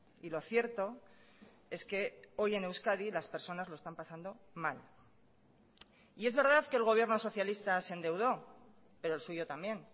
y lo cierto es que hoy en euskadi las personas lo están pasando mal y es verdad que el gobierno socialista se endeudó pero el suyo también